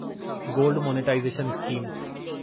gold monetization scheme